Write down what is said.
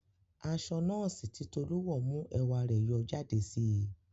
Aṣọ nọ́ọ̀sì tí Tolú wọ̀ mú ẹwà rẹ̀ yọ jáde síi